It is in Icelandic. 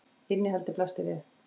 Innihaldið blasti við.